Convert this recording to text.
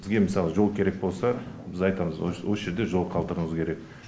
бізге мысалы жол керек болса біз айтамыз осы жерде жол қалдыруымыз керек